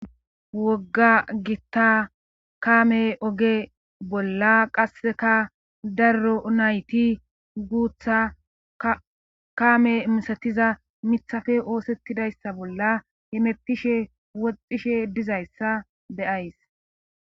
wogga gitta kaame oge bolla qasseka darro nayti guutha kaame misatiza mithafe oosettidayssa bolla hemeppishe woxishe dizayssa deyays